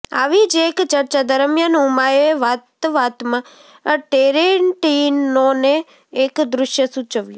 આવી જ એક ચર્ચા દરમિયાન ઉમાએ વાતવાતમાં ટેરેન્ટિનોને એક દૃશ્ય સૂચવ્યું